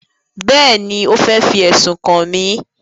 Bẹ́ẹ̀ni, ó fẹ́ fi ẹ̀sùn kàn mí